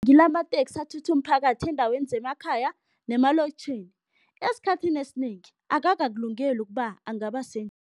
Ngilamateksi athutha umphakathi eendaweni zemakhaya nemalokitjhini, esikhathini esinengi akakakulungeli ukuba angaba